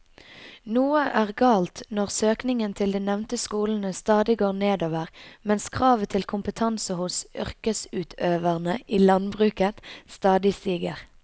Noe er galt når søkningen til de nevnte skolene stadig går nedover mens kravet til kompetanse hos yrkesutøverne i landbruket stadig stiger.